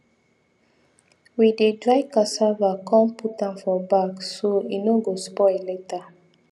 we dey dry cassava come put am for bag so e no go spoil later